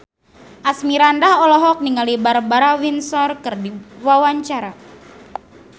Asmirandah olohok ningali Barbara Windsor keur diwawancara